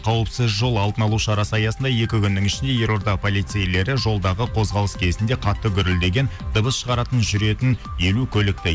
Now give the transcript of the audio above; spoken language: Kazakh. қауіпсіз жол алдын алу шарасы аясында екі күннің ішінде елорда полицейлері жолдағы қозғалыс кезінде қатты гүрілдеген дыбыс шығаратын жүретін елу көлікті